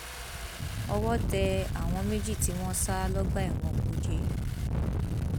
owó tẹ àwọn méjì tí wọn sá lọgbà ẹwọn kújẹ